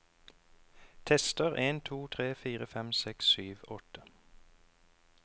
Tester en to tre fire fem seks sju åtte